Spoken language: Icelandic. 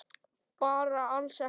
Bara alls ekki.